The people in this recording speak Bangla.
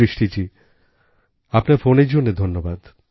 সৃষ্টিজী আপনার ফোনের জন্য ধন্যবাদ